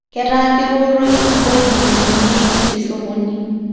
Ketaa koworoi ngoji newuneki tesokoni